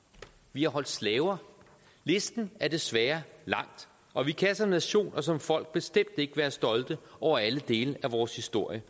vi har holdt slaver listen er desværre lang og vi kan som nation og som folk bestemt ikke være stolte over alle dele af vores historie